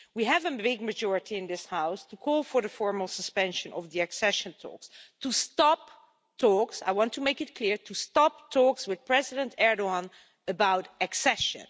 We have a big majority in this House to call for the formal suspension of the accession talks to stop talks I want to make it clear to stop talks with President Erdoğan about accession.